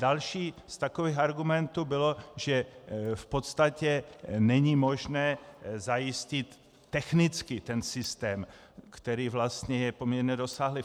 Další z takových argumentů bylo, že v podstatě není možné zajistit technicky ten systém, který vlastně je poměrně rozsáhlý.